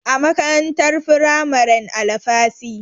A makarantar firamaren Alafasy.